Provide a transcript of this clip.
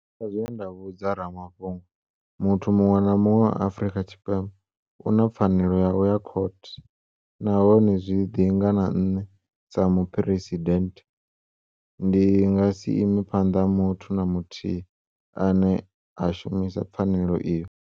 Sa zwe nda vhudza ramafhungo, muthu muṅwe na muṅwe wa Afrika Tshipembe u na pfanelo ya u ya khothe nahone zwi ḓinga na nṋe, sa Muphu-residennde, ndi nga si ime phanḓa ha muthu na muthihi ane a shumisa pfanelo iyo.